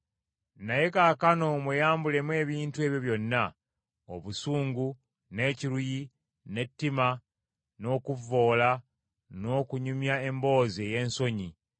Naye kaakano mweyambulemu ebintu ebyo byonna; obusungu, n’ekiruyi, n’ettima, n’okuvvoola, n’okunyumya emboozi ey’ensonyi.